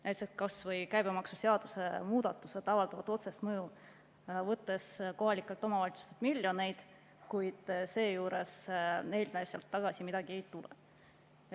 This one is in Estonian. Näiteks kas või käibemaksuseaduse muudatused avaldavad otsest mõju, võttes kohalikelt omavalitsustelt miljoneid, kuid neile sealt tagasi midagi ei tule.